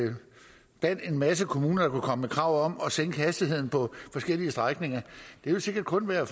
at en masse kommuner kommer med krav om at sænke hastigheden på forskellige strækninger vil sikkert kun være